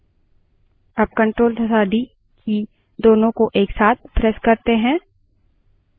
अब enter की press करके input का अंत करें